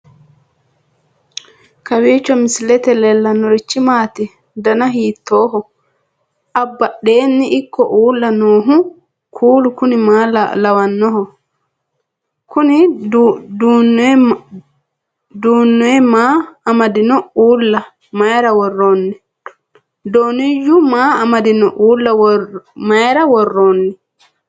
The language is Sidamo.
kowiicho misilete leellanorichi maati ? dana hiittooho ?abadhhenni ikko uulla noohu kuulu kuni maa lawannoho? kuni dooniyyu maa amadino uulla mayra worroonni